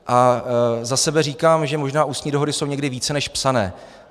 A za sebe říkám, že možná ústní dohody jsou někdy více než psané.